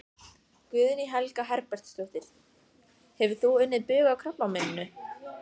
Guðný Helga Herbertsdóttir: Hefur þú unnið bug á krabbameininu?